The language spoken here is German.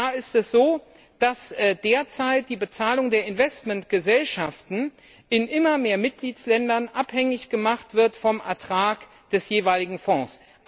Da ist es so, dass derzeit die Bezahlung der Investmentgesellschaften in immer mehr Mitgliedstaaten abhängig gemacht wird vom Ertrag des jeweiligen Fonds.